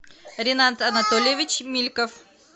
ренат анатольевич мильков